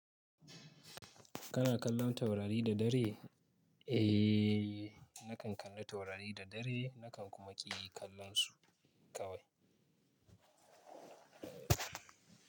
Kana kallon taurari da dare? Eh, nakan kalla taurari da dare, nakan kuma ƙi yi kallon su kawai.